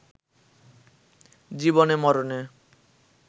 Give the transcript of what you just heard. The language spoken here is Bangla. জীবনে-মরণে